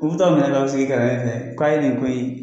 U bɛ t'a minɛ k'a sigi fɛ k'a ye nin ko in